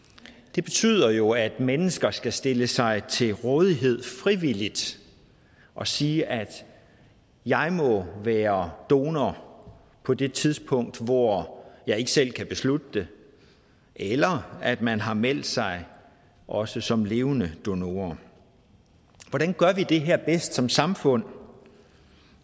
det betyder jo at mennesker skal stille sig til rådighed frivilligt og sige at jeg må være donor på det tidspunkt hvor jeg ikke selv kan beslutte det eller at man har meldt sig også som levende donor hvordan gør vi det her bedst som samfund